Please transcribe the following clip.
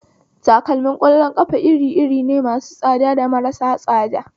Takalmar ƙwallon ƙafa iri iri ne, masu tsada da marasu tsada